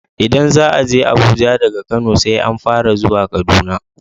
Idan za aje Abuja daga Kano, sai an fara zuwa Kaduna.